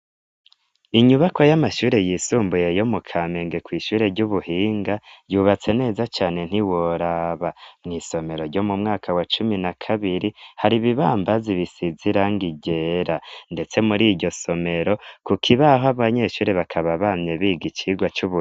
Inyubako y'amashure yisumbuye yo mu kamenge ku ishure ry'ubuhinga yubatse neza cane ntiworaba mu isomero ryo mu mwaka wa cumi na kabiri hari ibibambazi ibisizirangigera ndetse muri iryo somero ku kibaho abanyeshure bakaba bamye biga icigwa cy'ubure